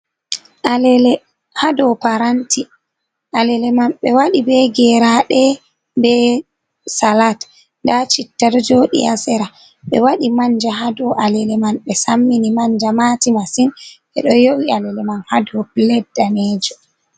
Alele ha dow paranti. Alele man ɓe waɗi be geraɗe be salat, nda chitta ɗo joɗi ha sera ɓe waɗi manja ha dow alele mai ɓe sammini manja mati masin. Ɓe ɗo yo’i alele mai ha dow plet mejo.